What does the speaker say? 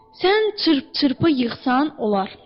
Sən çırp-çırpı yığsan, olar.